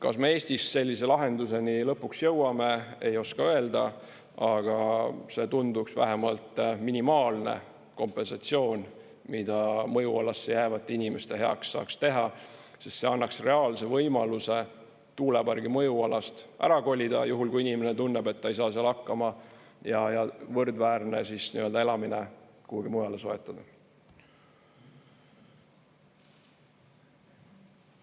Kas me Eestis sellise lahenduseni lõpuks jõuame, ei oska öelda, aga see tunduks vähemalt minimaalne kompensatsioon, mida mõjualasse jäävate inimeste heaks saaks teha, sest see annaks reaalse võimaluse tuulepargi mõjualast ära kolida, juhul kui inimene tunneb, et ta ei saa seal hakkama, ja võrdväärne elamine kuhugi mujale soetada.